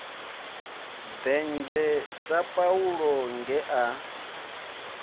denzhe sa paulo nge a